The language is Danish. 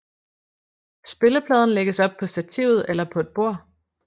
Spillepladen lægges op på stativet eller på et bord